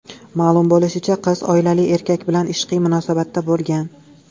Ma’lum bo‘lishicha, qiz oilali erkak bilan ishqiy munosabatda bo‘lgan.